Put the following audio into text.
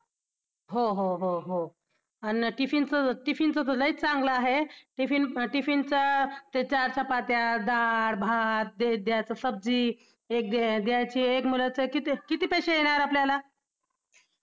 कोकणातल्या कवींपेक्षा देशभरात देश देशावरचा भरपुर पाऊस पडणाऱ्या प्रदेशातील कविंपेक्षा कमी अपुरा पाऊस पडणाऱ्या पर्जन्य छाया खालच्या प्रदेशातल्या कवींना पाऊस पाहण्या इतका दुर्घटतो